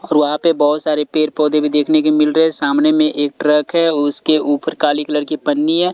और वहां पे बहुत सारे पेर-पौधे भी देखने के मिल रहे हैं सामने में एक ट्रक है उसके ऊपर काली कलर की पन्नी है।